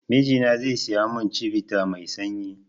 Mijina zai siya mun chivita mai sanyi